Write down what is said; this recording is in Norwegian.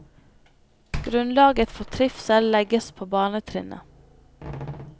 Grunnlaget for trivsel legges på barnetrinnet.